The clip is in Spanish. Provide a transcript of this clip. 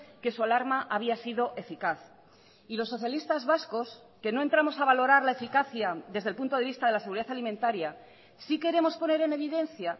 que su alarma había sido eficaz y los socialistas vascos que no entramos a valorar la eficacia desde el punto de vista de la seguridad alimentaria sí queremos poner en evidencia